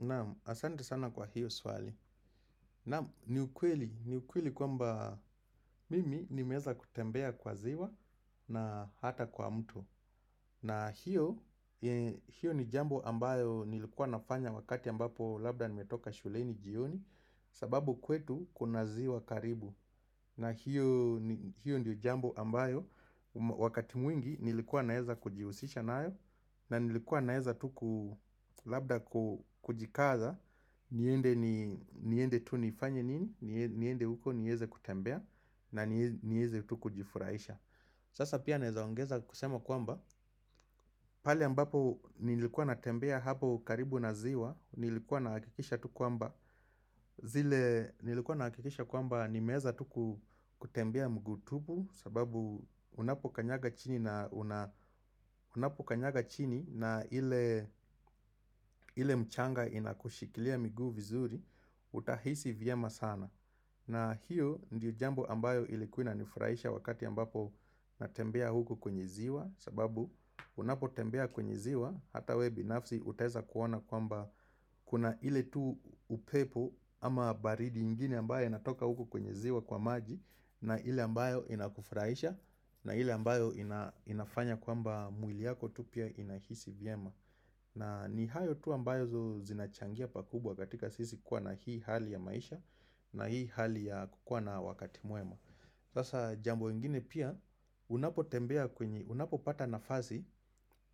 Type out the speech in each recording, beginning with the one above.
Naam, asante sana kwa hiyo swali Naam, ni ukweli, ni ukweli kwamba mimi nimeweza kutembea kwa ziwa na hata kwa mto na hiyo, hiyo ni jambo ambayo nilikuwa nafanya wakati ambapo labda nimetoka shuleni jioni sababu kwetu kuna ziwa karibu na hiyo, hiyo ndio jambo ambayo wakati mwingi nilikuwa naweza kujihusisha nayo. Na nilikuwa naweza tu labda kujikaza niende tu nifanye nini niende huko niweze kutembea na niweze tu kujifurahisha Sasa pia naweza ongeza kusema kwamba pale ambapo nilikuwa natembea hapo karibu na ziwa nilikuwa nahakikisha tu kwamba zile nilikuwa nahakikisha kwamba nimeweza tu kutembea mguu tupu sababu unapokanyaga chini na unapokanyaga chini na ile ile mchanga inakushikilia miguu vizuri Utahisi vyema sana na hiyo ndiyo jambo ambayo ilikua inanifurahisha wakati ambapo natembea huku kwenye ziwa sababu unapotembea kwenye ziwa hata wewe binafsi utaweza kuona kwamba kuna ile tu upepo ama baridi ingine ambayo inatoka huku kwenye ziwa kwa maji na ile ambayo inakufurahisha na ile ambayo inafanya kwamba mwili wako tu pia unajihisi vyema na ni hayo tu ambayo zinachangia pakubwa katika sisi kuwa na hii hali ya maisha na hii hali ya kukua na wakati mwema. Sasa jambo lingine pia unapotembea kwenye, unapopata nafasi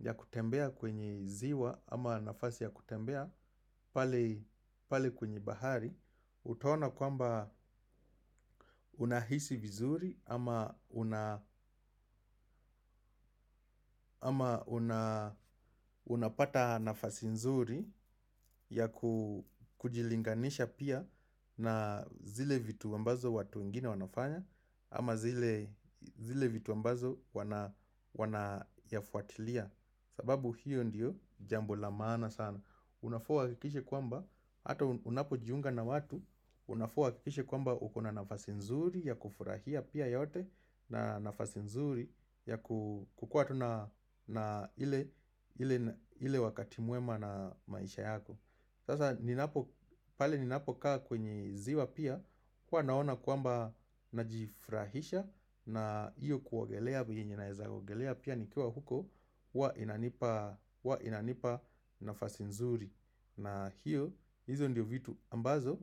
ya kutembea kwenye ziwa ama nafasi ya kutembea pale kwenye bahari. Utaona kwamba unahisi vizuri ama unapata nafasi nzuri ya kujilinganisha pia na zile vitu ambazo watu wengine wanafanya ama zile vitu ambazo wanayafuatilia sababu hiyo ndiyo jambo la maana sana. Unafaa uhakikishe kwamba, hata unapo jiunga na watu Unafaa uhakikishe kwamba uko na nafasi nzuri ya kufurahia pia yote na nafasi nzuri ya kukua tu na na ile wakati mwema na maisha yako Sasa pale ninapokaa kwenye ziwa pia huwa naona kwamba najifurahisha na hiyo kuogelea vile nawezaogelea pia nikiwa huko huwa inanipa nafasi nzuri na hiyo hizo ndio vitu ambazo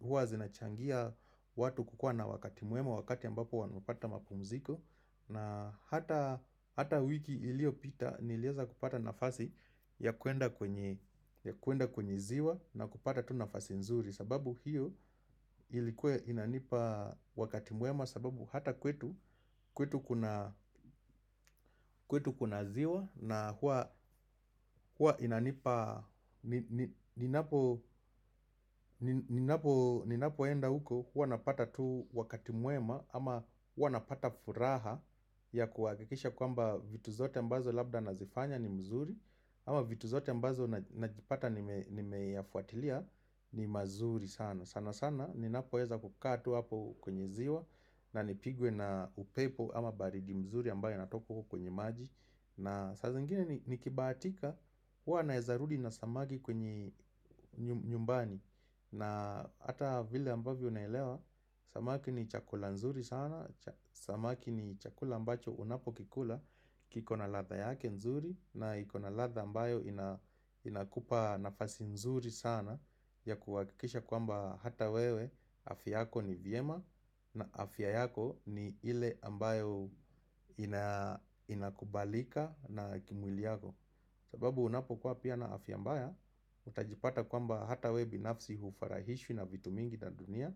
huwa zinachangia watu kukua na wakati mwema wakati ambapo wanapata mapumziko na hata hata wiki iliopita niliweza kupata nafasi ya kwenda kwenye kwenda kwenye ziwa na kupata tu nafasi nzuri sababu hiyo ilikuwa inanipa wakati mwema sababu hata kwetu kwetu kuna kwetu kuna ziwa na huwa inanipa Ninapoenda huko huwa napata tu wakati mwema ama huwa napata furaha ya kuhakikisha kwamba vitu vyote ambavyo labda navifanya ni vizuri Ama vitu zote ambazo najipata nimeyafuatilia ni mazuri sana sana sana ninapoweza kukaa tu hapo kwenye ziwa na nipigwe na upepo ama baridi nzuri ambayo inatoka huko kwenye maji na saa zingini nikibahatika huwa naweza rudi na samaki kwenye nyumbani na hata vile ambavyo naelewa samaki ni chakula nzuri sana samaki ni chakula ambacho unapo kikula kiko na ladha yake nzuri na iko na ladha ambayo inakupa nafasi nzuri sana ya kuhakikisha kwamba hata wewe afya yako ni vyema na afya yako ni ile ambayo inakubalika na kimwili yako sababu unapokuwa pia na afya mbaya Utajipata kwamba hata wewe binafsi hufurahishwi na vitu mingi vya dunia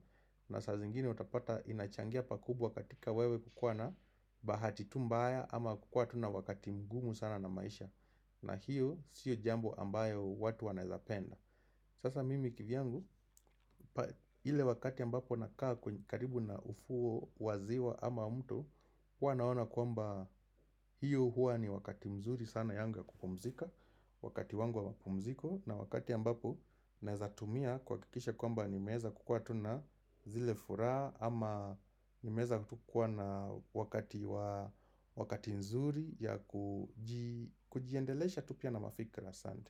na saa zingine utapata inachangia pakubwa katika wewe kukuwa na Bahati tu mbaya ama kuwa tu na wakati mgumu sana na maisha na hiyo sio jambo ambalo watu wanaweza kupenda Sasa mimi kivyangu, ile wakati ambapo nakaa karibu na ufuo wa ziwa ama mto hua naona kwamba hiyo huwa ni wakati mzuri sana yangu ya kupumzika Wakati wangu wa mapumziko na wakati ambapo naweza tumia kuhakikisha kwamba nimeweza kukua tu na zile furaha ama nimeweza tu kuwa na wakati mzuri wa kujiendelesha tu pia na mafikra asante.